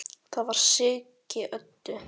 Það var Siggi Öddu.